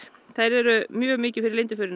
þær eru mjög mikið fyrir